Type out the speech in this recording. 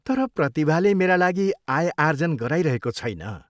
तर प्रतिभाले मेरा लागि आय आर्जन गराइरहेको छैन।